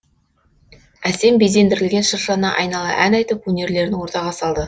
әсем безендірілген шыршаны айнала ән айтып өнерлерін ортаға салды